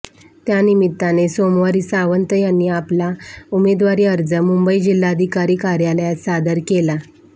त्यानिमित्ताने सोमवारी सावंत यांनी आपला उमेदवारी अर्ज मुंबई जिल्हाधिकारी कार्यालयात सादर केला